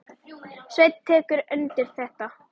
Sveinn tekur undir þetta.